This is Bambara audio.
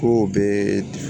Kow bee